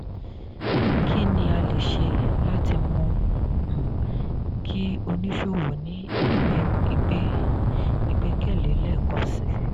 kí ni a lè ṣe láti mú um kí oníṣòwò ní ìgbẹ́kẹ̀lé lẹ́ẹ̀kansi?